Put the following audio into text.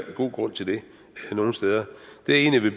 god grund til det nogle steder